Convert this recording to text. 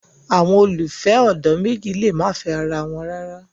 Awọn ololufẹ ọdọ meji le ma fẹ ara wọn rara